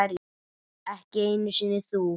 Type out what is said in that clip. Ekki einu sinni þú.